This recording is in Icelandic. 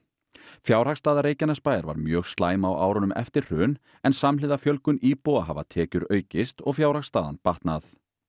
fjárhagsstaða Reykjanesbæjar var mjög slæm á árunum eftir hrun en samhliða fjölgun íbúa hafa tekjur aukist og fjárhagsstaðan batnað